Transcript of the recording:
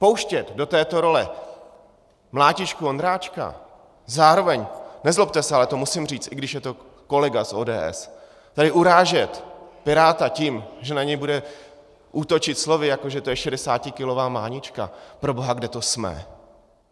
Pouštět do této role mlátičku Ondráčka, zároveň, nezlobte se, ale to musím říct, i když je to kolega z ODS, tady urážet piráta tím, že na něj bude útočit slovy, jako že to je šedesátikilová mánička - proboha, kde to jsme?